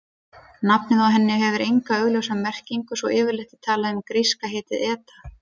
Nafnið á henni hefur enga augljósa merkingu svo yfirleitt er talað um gríska heitið eta.